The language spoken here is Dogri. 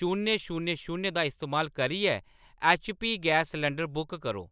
शून्य शून्य शून्य दा इस्तेमाल करियै ऐच्चपी गैस सलंडर बुक करो।